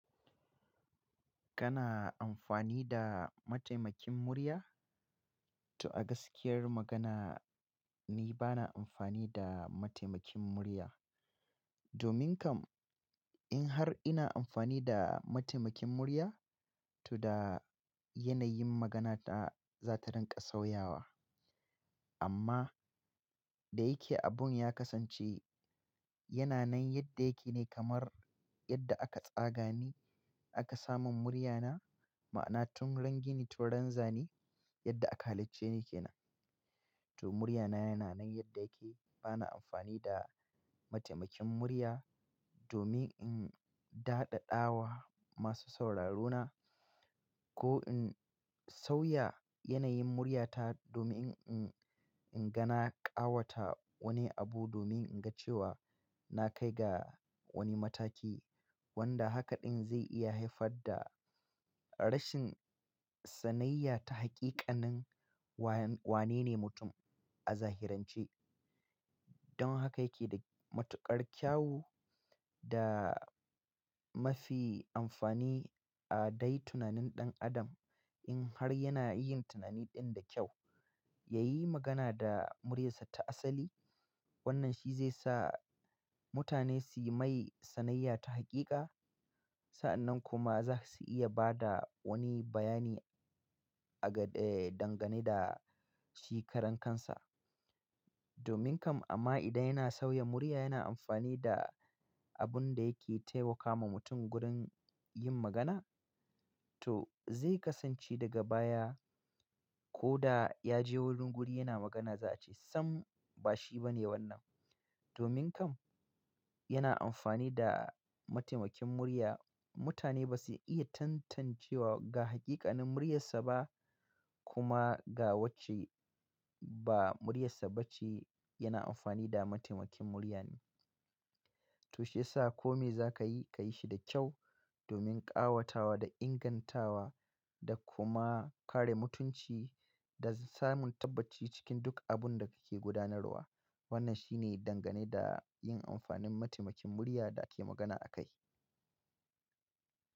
Kana amfani da mataimakin murya? To a gaskiyar magana ni bana amfani da matemakin murya. Domin kam in har ina amfani da mataimakin murya, to da yanayin magana ta za ta rinƙa sauyawa. Amma da yake abun ya kasance yana nan yadda yake ne kamar yadda aka tsaga ni aka samun muryana ma'ana tun ran gini tun ran zane yadda aka halicce ni kenan to murya na yana nan yadda yake. Bana amfani da mataimakin murya domin in daɗaɗawa masu sauraro na ko in sauya yanayin murya ta domin in ingana ƙawata wani abu domin in ga cewa na kai ga wani mataki wanda haka ɗin zai iya haifar da rashin sanayya na hakika nin wane ne mutum a zahiran ce don haka yake da matuƙar kyawu da mafi amfani a dai tunanin ɗan adam in har yana yin tunani ɗin da kyau, ya yi magana da muryar sa ta asali. Wannan shi zai sa mutane su yi mai sanayya ta hakika. Sa'annan kuma za su iya ba da wani bayani a ga dangane da shi karan kansa. Domin kam amma idan yana sauya murya, yana amfani da abun da yake taimakawa mutum gurin yin magana. To zai kasance daga baya ko da ya je wurin guri yana magana za a ce sam bashi bane wannan. Domin kam yana amfani da mataimakin murya. Mutane ba su iya tantancewa ga hakikanin muryar sa ba kuma ga wacce ba muryar sa ba ce. Yana amfani da mataimakin murya ne. To shiyasa kome za ka yi, ka yi shi da kyau domin ƙawatawa da ingantawa da kuma kare mutunci da samun tabbaci cikin duk abun da kake gudanarwa. Wannan shine dangane da yin amfanin mataimakin murya da ake magana akai.